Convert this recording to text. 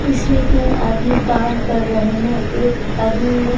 इसमें तीन आदमी काम कर रहे हैं एक आदमी ने--